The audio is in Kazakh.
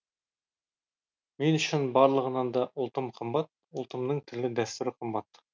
мен үшін барлығынан да ұлтым қымбат ұлтымның тілі дәстүрі қымбат